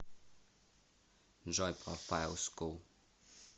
джой профайл скул